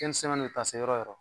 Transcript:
yɔrɔ o yɔrɔ.